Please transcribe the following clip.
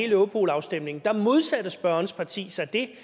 europol afstemningen modsatte spørgerens parti sig det